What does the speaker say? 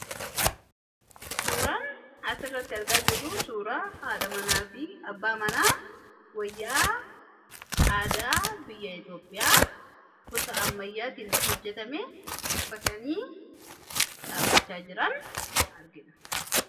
Suuraan asi irratti argaa jiru suuraa haadha manaa fi abbaa manaa wayyaa aadaa biyyaa Itoophiyaa gosa ammayyaatiin hojjatame uffatanii dhaabbachaa jiraan argina.